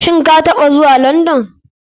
Shin kataɓa zuwa london?